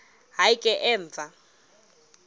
hayi ke emva